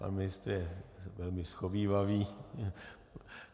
Pan ministr je velmi shovívavý.